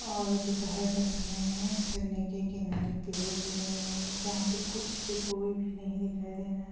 और दोपहर का समय है झरने के किनारे पेड़ भी लगे हुए यहाँ पे कुछ भी कोई भी नहीं दिखाई दे रहा है।